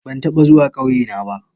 Ban taba zuwa kauyena ba.